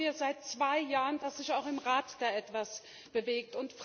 Jetzt warten wir seit zwei Jahren, dass sich auch im Rat da etwas bewegt.